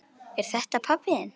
Er þetta pabbi þinn?